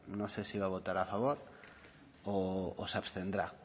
no sé si va a votar a favor o se abstendrá